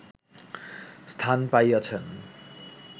স্থান পাইয়াছেন